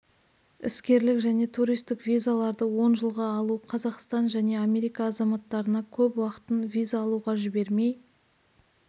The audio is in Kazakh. іскерлік және туристік визаларды он жылға алу қазақстан және америка азаматтарына көп уақытын виза алуға жібермей